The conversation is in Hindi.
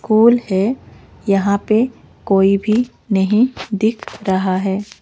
फूल है यहां पे कोई भी नहीं दिख रहा है।